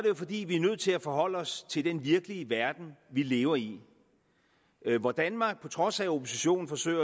jo fordi vi er nødt til at forholde os til den virkelige verden vi lever i hvor danmark på trods af at oppositionen forsøger